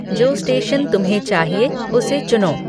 जो स्टेशन तुम्हे चाहिए उसे चुनो